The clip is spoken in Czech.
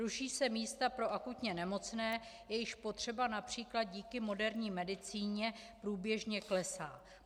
Ruší se místa pro akutně nemocné, jejichž potřeba například díky moderní medicíně průběžně klesá.